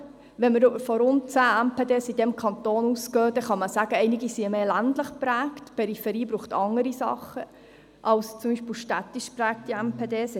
Wenn wir von rund 10 MPD in diesem Kanton ausgehen, dann kann man sagen, einige seien stärker ländlich geprägt, und die Peripherie benötigt andere Dinge als beispielsweise städtisch geprägte MPD et cetera.